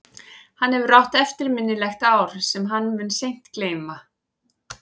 Hann hefur átt eftirminnilegt ár sem hann mun seint gleyma.